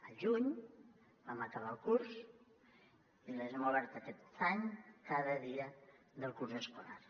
al juny vam acabar el curs i les hem obert aquest any cada dia del curs escolar